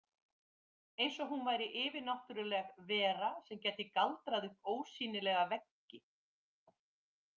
Eins og hún væri yfirnáttúrleg vera sem gæti galdrað upp ósýnilega veggi.